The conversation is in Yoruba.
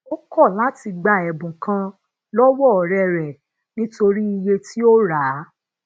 ó kò láti gba èbùn kan lowo òré rè nítorí iye ti o ra a